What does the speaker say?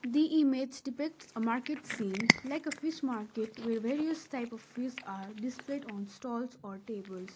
the image depicts a market scene like a fish market where various type of fish are displayed on stalls or tables.